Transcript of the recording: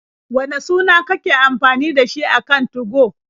Wane suna kake amfani da shi a kan 2go?